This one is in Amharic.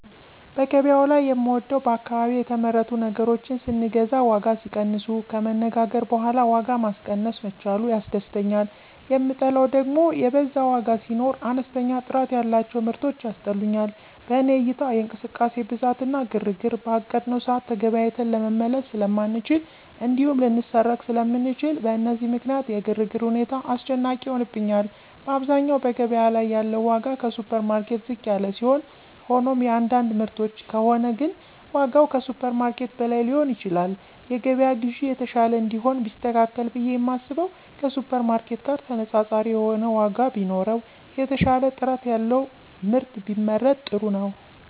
በገበያው ላይ የምወደው በአካባቢ የተመረቱ ነገሮችን ስንገዛ ዋጋ ሲቀንሱ፣ ከመነጋገር በኋላ ዋጋ ማስቀነስ መቻሉ ያስደስተኛል, የምጠላው ደግም የበዛ ዋጋ ሲኖር፣ አነስተኛ ጥራት ያላቸው ምርቶች ያስጠሉኛል። በኔ እይታ የእንቅስቃሴ ብዛት እና ግርግር፣ በአቀድነው ሰዓት ተገበያይተን ለመመለስ ስለማንችል እንዲሁም ልንሰረቅ ስለምንችል፣ በእነዚህ ምክንያት የግርግር ሁኔታ አስጨናቂ ይሆንብኛል። በአብዛኛው በገበያ ላይ ያለው ዋጋ ከሱፐርማርኬት ዝቅ ያለ ሲሆን ሆኖም የአንዳንድ ምርቶች ከሆነ ግን ዋጋው ከሱፐርማርኬት በላይ ሊሆን ይችላል። የገበያ ግዢ የተሻለ እንዲሆን ቢስተካከል ብየ የማስበው ከሱፐርማርኬት ጋር ተነፃፃሪ የሆነ ዋጋ ቢኖረው፣ የተሻለ ጥራት ያለው ምርት ቢመረት ጥሩ ነው።